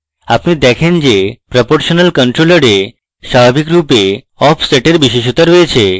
আপনি দেখেন যে proportional controller এ স্বাভাবিক রূপে offset এর বিশেষতা রয়েছে